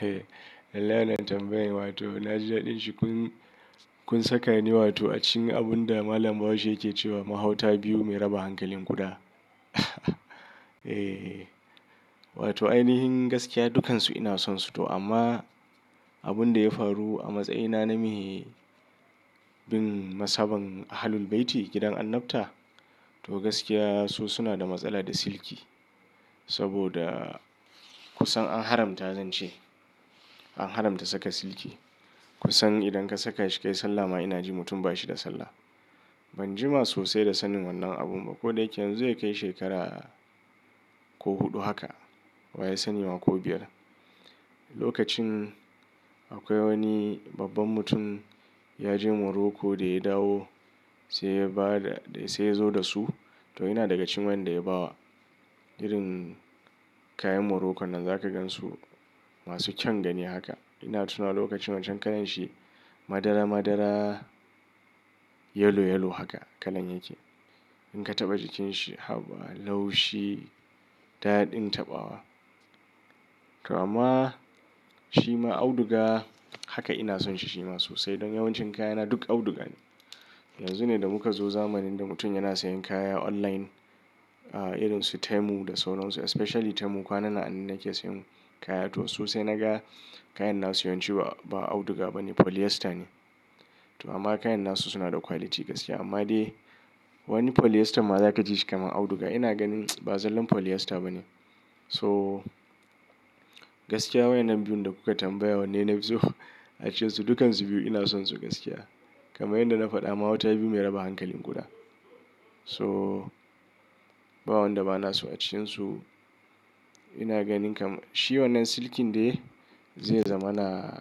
Eh, lallai wannan tambayan, wato na ji daɗin shi, kun saka ni a cikin abun da malam Bahaushe yake cewa "Mahauta biyu mai raba hankalin ƙuda." Wato ainihin gaskiya dukansu ina sonsu to amma, abun da ya faru a matsayina na me bin mazhaban Ahlul-Bayti gidan Annabta, to gaskiya su suna da matsala da silki. Saboda kusan an haramta zance, an haramta saka silki. Kusan idan ka saka shi kai sallah ma ina ji mutum ba shi da sallah. Ban jima sosai da sanin wannan abun ba. Ko da yake yanzu zai kai shekara ko huɗu haka, wa ya sani ma ko biyar. Lokacin, akwai wani babban mutum ya je Morocco, da ya dawo sai ya zo da su. To ina daga cikin waƴanda ya ba wa. Irin kayan Morocco nan zaka gan su masu kyan gani haka. Ina tuna lokacin wancan kalan shi, madara-madara, yellow-yellow haka, kalan yake. In ka taɓa jikin shi, haba, laushi, daɗin taɓawa. To amma, shima auduga haka ina son shi shima sosai. Don yawancin kayana duk auduga ne. Yanzu ne da muka zo zamanin da mutum yana sayan kaya online, irin su Temu da sauran su, especially Temu, kwanan nan anan nake sayan kaya. To su sai naga kayan na su yawanci ba auduga ba ne polyester ne. To amma kayan na su suna da quality gaskiya. Amma dai, wani polyester ma za ka ji shi kamar auduga. Ina ganin, ba zallan polyester ba ne. To, gaskiya waƴannan biyun da kuka tambaya wanne nafi so a cikinsu, dukkansu biyun ina son su gaskiya. Kaman yanda na faɗa mahauta biyu mai raba hankalin ƙuda. Toh, ba wanda ba naso a cikinsu. Ina ganin kam, shi wannan silkin dai zai zama na,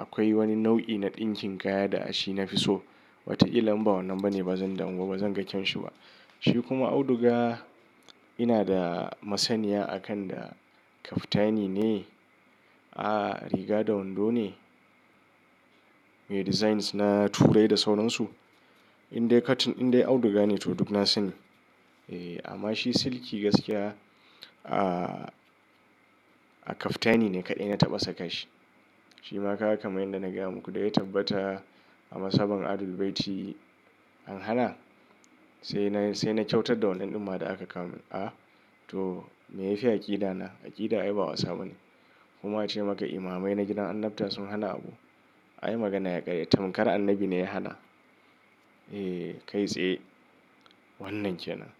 akwai wani nau'i na ɗinkin kaya da a shi na fi so. Wataƙila in ba wannan ba ne ba zan damu ba, ba zan ga kyan shi ba. Shi kuma auduga, ina da masaniya a kan da kaftani ne, ah riga da wando ne, me designs na Turai da sauran su, indai cotton, indai auduga ne to duk na sani, eh amma shi silki gaskiya, ah kaftani ne kaɗai na taɓa saka shi. Shima kaga kamar yadda na gaya muku da ya tabbata a mazhaban Ahlul-bayti an hana, sai na kyautar da wannan ɗumma da aka kawo min. To me ya fi aƙida na, aƙida ai ba wasa bane. Kuma a ce maka imamai na gidan Annabta sun hana abu, ai magana ya ƙare, tamkar Annabi ne ya hana. Eh kai tsaye, wannan ke nan.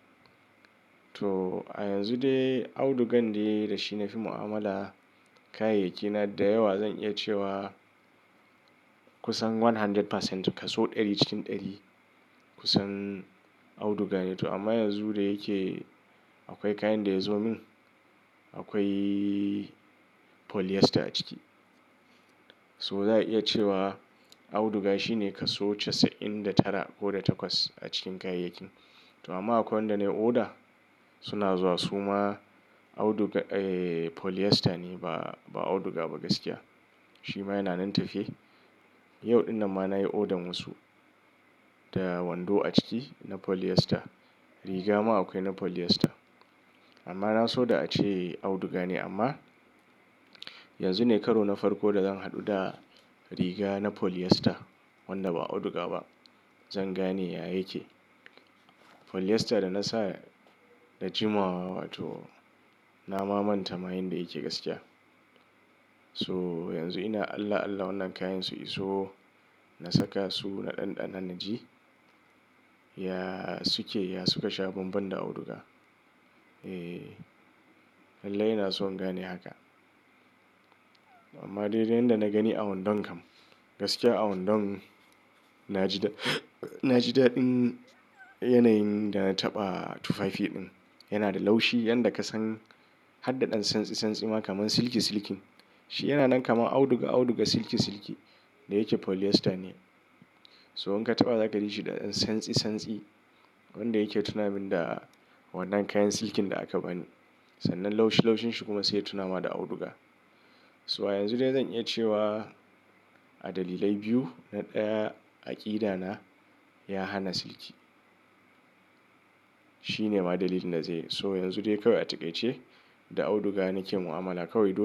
To, a yanzu dai, audugan dai, da shi na fi mu'amala. Kayayyaki na da yawa zan iya cewa kusan 100%, kaso ɗari cikin ɗari, kusan auduga ne, to amma yanzu da yake akwai kayan da ya zo min. Akwai polyester a ciki. So za'a iya cewa auduga shine kaso casa'in da tara ko da takwas a cikin kayayyakin. To amma akwai wanda na yi oda, suna zuwa su ma audu, polyester ne ba auduga ba gaskiya. Shi ma yana nan tafe, yau ɗin nan ma nayi odan wasu, da wando a ciki na polyester. Riga ma akwai na polyester. Amma na so da a ce auduga ne, amma yanzu ne karo na farko da zan haɗu da riga na polyester, wanda ba auduga ba. Zan gane ya yake. Polyester da na sa, da jimawa wato na ma manta ma yanda yake gaskiya. So yanzu ina Allah Allah wannan kayan su iso, na saka su na ɗanɗana na ji ya suke, ya suka sha banban da auduga. Ehh, lallai ina so in gane haka. Amma dai da yanda na gani a wandon kam. Gaskiya a wandon na ji daɗin yanayin da na taɓa tufafi din. Yana da laushi yanda ka san har da ɗan tsantsi-tsantsi ma kamar silki-silki. Shi yana nan kamar auduga-auduga, silki-silki, da yake polyester ne. So in ka taɓa za ka ji shi ɗan tsantsi-tsantsi, abunda yake tunamin da wannan kayan silkin da aka bani. Sannan laushi-laushin shi kuma sai ya tunama da auduga. So a yanzu dai zan iya cewa, a dalilai biyu, na ɗaya aƙida na, ya hana silki. Shi ne ma dalilin da zai yi. To yanzu dai kawai a taƙaice, da auduga na ke mu'amala, kawai du.